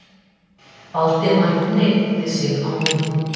Valdimar hneigði sig á móti.